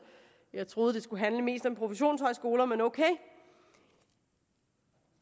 jeg troede det skulle handle mest om professionshøjskoler men ok